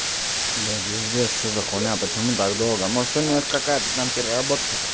да пиздец что за хуйня почему так долго может у них какая-то там переработка